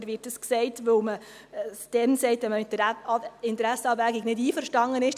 Oder wird dies gesagt, weil man es dann sagt, wenn man mit der Interessenabwägung nicht einverstanden ist?